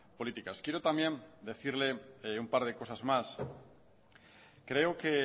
políticas quiero también decirle un par de cosas más creo que